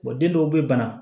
den dɔw bɛ bana